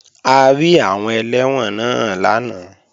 A rí àwọn ẹlẹ́wọ̀n náà lánàá